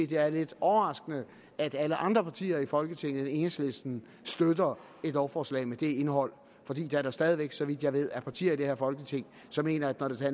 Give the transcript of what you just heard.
det er lidt overraskende at alle andre partier i folketinget end enhedslisten støtter et lovforslag med det indhold fordi der da stadig væk så vidt jeg ved er partier i det her folketing som mener at når der er